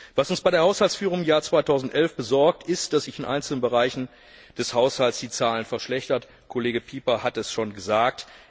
Was uns bei der Haushaltsführung im Jahr 2011 besorgt, ist, dass sich in einzelnen Bereichen des Haushalts die Zahlen verschlechtert haben Kollege Pieper hat es schon gesagt.